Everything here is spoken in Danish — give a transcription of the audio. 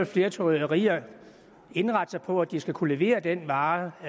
flere trykkerier indrette sig på at de skal kunne levere den vare